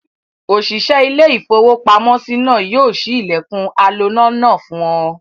Òṣìṣẹ́ ilé-iìfowópamọ́sí náà ni yóò ṣí ilẹ̀kùn aloná náà fún ọ.